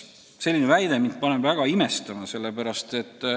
Selline väide paneb mind väga imestama.